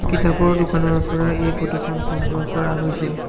কিতাপৰ দোকানৰ পৰা এই ফটো খন সংগ্ৰহ কৰা হৈছে।